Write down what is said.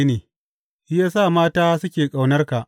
Shi ya sa mata suke ƙaunarka!